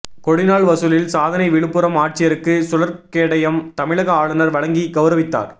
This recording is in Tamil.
கொடிநாள் வசூலில் சாதனை விழுப்புரம் ஆட்சியருக்கு சுழற்கேடயம் தமிழக ஆளுநர் வழங்கி கவுரவித்தார்